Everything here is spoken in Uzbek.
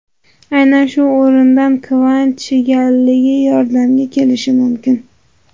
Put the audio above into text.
Aynan shu o‘rinda kvant chigalligi yordamga kelishi mumkin.